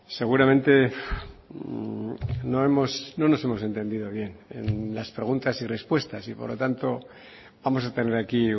seguramente no nos hemos entendido bien en las preguntas y respuestas y por lo tanto vamos a tener aquí